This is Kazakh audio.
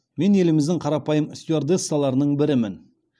мен еліміздің қарапайым стюардессаларының бірімін